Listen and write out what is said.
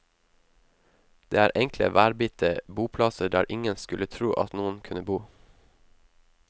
Det er enkle, værbitte boplasser der ingen skulle tro at noen kunne bo.